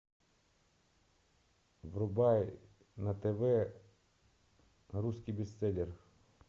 врубай на тв русский бестселлер